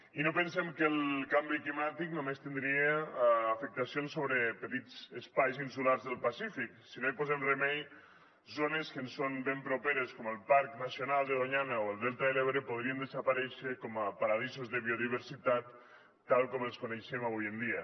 i no pensem que el canvi climàtic només tindria afectacions sobre petits espais insulars del pacífic si no hi posem remei zones que ens són ben properes com el parc nacional de doñana o el delta de l’ebre podrien desaparèixer com a paradisos de biodiversitat tal com els coneixem avui en dia